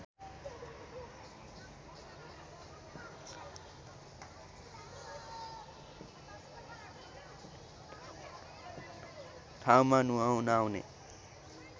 ठाउँमा नुहाउन आउने